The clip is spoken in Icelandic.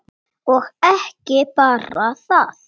Og ekki bara það: